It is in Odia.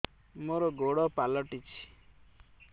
ମୋର ଗୋଡ଼ ପାଲଟିଛି